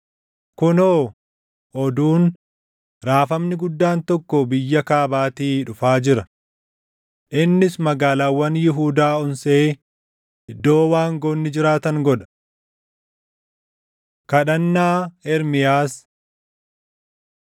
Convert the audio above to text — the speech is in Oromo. Kunoo, oduun, raafamni guddaan tokko biyya kaabaatii dhufaa jira! Innis magaalaawwan Yihuudaa onsee iddoo waangoonni jiraatan godha. Kadhannaa Ermiyaas